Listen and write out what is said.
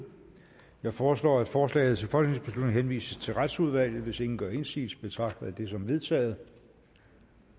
jeg foreslår at forslaget til folketingsbeslutning henvises til retsudvalget hvis ingen gør indsigelse betragter jeg det som vedtaget